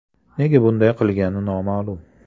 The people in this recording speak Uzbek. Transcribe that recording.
Nega bunday qilgani noma’lum.